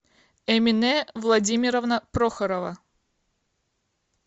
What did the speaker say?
эмине владимировна прохорова